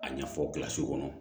A ɲɛfɔ kɔnɔ